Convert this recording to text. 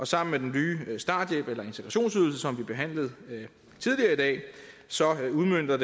sammen med den nye starthjælp eller integrationsydelse som vi behandlede tidligere i dag udmønter